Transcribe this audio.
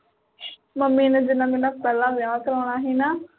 mummy ਨੇ ਜਿਹਦੇ ਨਾਲ ਮੇਰਾ ਪਹਿਲਾ ਵਿਆਹ ਕਰਵਾਉਣਾ ਸੀਗਾ ਨਾ